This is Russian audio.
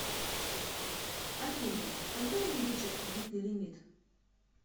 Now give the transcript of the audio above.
афина когда увеличат кредитный лимит